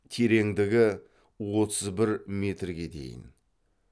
тереңдігі отыз бір метрге дейін